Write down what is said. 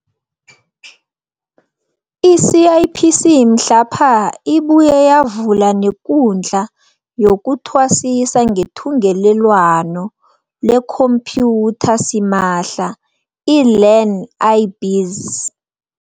I-CIPC mhlapha ibuye yavula nekundla yokuthwasisa ngethungelelwano lekhomphyutha simahla iLearn-i-Biz